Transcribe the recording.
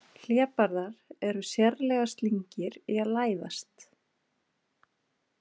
Hlébarðar eru sérlega slyngir í að læðast.